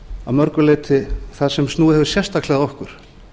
að mörgu leyti það sem snúið hefur sérstaklega að okkur